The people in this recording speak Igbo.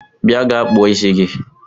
Bịa gaa kpụọ ịsị gi!